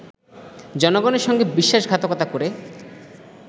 জনগণের সঙ্গে বিশ্বাসঘাতকতা করে